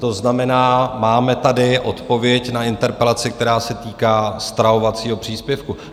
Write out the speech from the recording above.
To znamená, máme tady odpověď na interpelaci, která se týká stravovacího příspěvku.